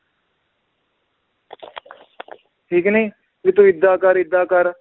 ਠੀਕ ਨੀ ਵੀ ਤੂੰ ਏਦਾਂ ਕਰ ਏਦਾਂ ਕਰ